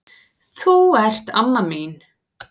Þú ert amma mín.